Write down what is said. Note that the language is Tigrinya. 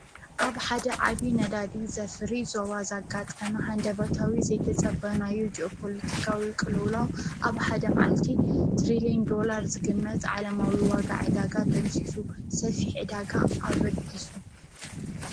ኣብ ሓደ ዓብ ነዳዲ ዘፍሪ ዞዋ ዛጋ ጠመ ሃንደበታዊ ዘይተጸበናዩ ጆፖሎቲካዊ ቕልውላው ኣብ ሓደ መዓልቲ ትርልን ዶላር ዝግመት ዓለማዊ ዋጋ ዕዳጋ ደምሲሱ ሰፊሕ ዕዳጋ ኣበጊሱ እዩ።